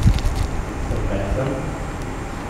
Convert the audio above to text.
Sem besen?